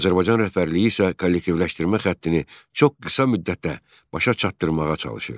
Azərbaycan rəhbərliyi isə kollektivləşdirmə xəttini çox qısa müddətdə başa çatdırmağa çalışırdı.